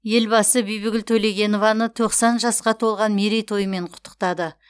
елбасы бибігүл төлегенованы тоқсан жасқа толған мерейтойымен құттықтады